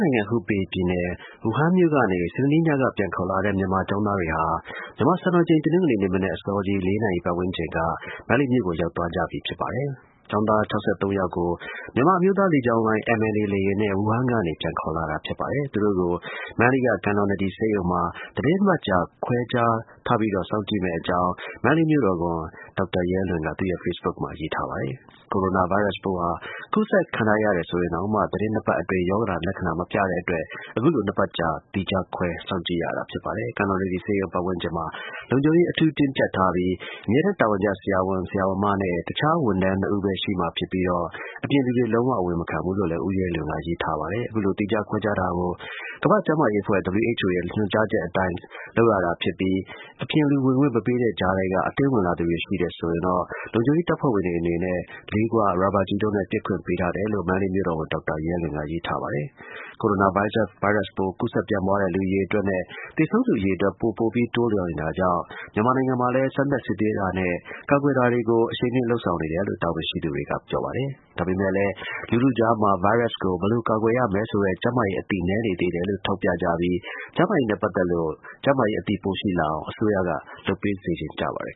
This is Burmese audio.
နိုင်ငံ၊ ဟူပေပြည်နယ်၊ ဝူဟန်မြို့ကနေ စနေညဘက်က ပြန်ခေါ်လာတဲ့ မြန်မာကျောင်းသားတွေဟာ မြန်မာစံတော်ချိန် တနင်္ဂနွေနေ့မနက် အစောကြီး ၄ နာရီ ပတ်ဝန်းကျင်က မန္တလေးမြို့ကို ရောက်သွားကြပါပြီ။ ကျောင်းသားတွေကို မြန်မာအမျိုးသားလေကြောင်းလိုင်း (MNA) လေယာဉ်နဲ့ ဝူဟန်ကနေ ပြန်ခေါ်လာတာ ဖြစ်ပါတယ်။ သူတို့ကို မန္တလေးက ကန်တော်နဒီဆေးရုံမှာ သီတင်းနှစ်ပတ်ကြာ သီးခြားခွဲထားပြီးတော့ စောင့်ကြည့်မယ့်အကြောင်း မန္တလေးမြို့တော်ဝန် ဒေါက်တာရဲလွင်က သူ့ရဲ့ ဖေ့စ်ဘုတ်မှာ ရေးထားပါတယ်။ ဝူဟန်က အိန္ဒိယကျောင်းသား ၃၀၀ ကျော် အစိုးရပြန်ခေါ်သတင်း ဖတ်ရှုနိုင်ပါတယ်။ ကိုရိုနာဗိုင်းရပ်စ်ပိုးဟာ ကူးစက်ခံထားရတယ် ဆိုရင်တောင်မှ သီတင်းနှစ်ပတ်အတွင်း ရောဂါလက္ခဏာတွေ မပြတဲ့အတွက် အခုလို နှစ်ပတ်ကြာ သီးခြားခွဲ စောင့်ကြည့်ရတာ ဖြစ်ပါတယ်။ ကန်တော်နဒီဆေးရုံ ပတ်ဝန်းကျင်မှာ လုံခြုံရေး အထူးတင်းကျပ်ထားပြီး အမြဲတမ်းတာဝန်ကျ ဆရာဝန်၊ ဆရာမနဲ့ တခြားဝန်ထမ်းနှစ်ဦးပဲ ရှိမှာဖြစ်ပြီးတော့ အပြင်လူတွေ လုံးဝအဝင်မခံဘူးလို့လည်း ဦးရဲလွင်က ရေးထားပါတယ်။ အခုလို သီးခြားခွဲထားတာကို ကမ္ဘာ့ကျန်းမာရေးအဖွဲ့ (WHO) ရဲ့ လမ်းညွှန်ချက်တွေအတိုင်း လုပ်ရတာဖြစ်ပြီး အပြင်လူ တွေ့ခွင့်မပေးတဲ့ကြားထဲက အတင်းဝင်လာသူတွေ ရှိတယ်ဆိုရင် လုံခြုံရေးတပ်ဖွဲ့တွေအနေနဲ့ လေးခွ၊ ရာဘာကျည်တို့နဲ့ ပစ်ခွင့်ပေးထားတယ်လို့ မန္တလေးမြို့တော်ဝန် ဒေါက်တာရဲလွင်က ရေးထားပါတယ်။ ကိုရိုနာဗိုင်းရပ်စ်ပိုး ကူးစက်ပြန့်ပွားတဲ့ လူအရေအတွက်နဲ့ သေဆုံးသူအရေအတွက် ပိုပိုပြီး တိုးလာနေတာကြောင့် မြန်မာနိုင်ငံမှာလည်း စမ်းသပ်စစ်ဆေးတာနဲ့ ကာကွယ်တာတွေကို အရှိန်မြှင့် လုပ်ဆောင်နေတယ်လို့ တာဝန်ရှိသူတွေက ပြောပါတယ်။ ဒါပေမယ့်လည်း လူထုကြားမှာ ဗိုင်းရပ်စ်ကို ဘယ်လိုကာကွယ်ရမယ်ဆိုတဲ့ ကျန်းမာရေးအသိ နည်းနေသေးတယ်လို့ ထောက်ပြပြီး ဗိုင်းရပ်စ်နဲ့ပတ်သက်လို့ ကျန်းမာရေးအသိ ပိုရှိလာအောင် အစိုးရက လုပ်ပေးစေချင်ကြပါတယ်